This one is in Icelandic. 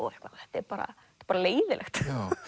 er bara bara leiðinlegt